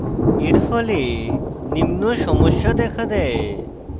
এর ফলে নিম্ন সমস্যা দেখা দেয়